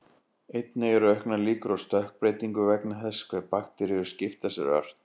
Einnig eru auknar líkur á stökkbreytingu vegna þess hve bakteríur skipta sér ört.